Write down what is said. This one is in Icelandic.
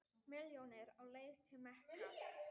Milljónir á leið til Mekka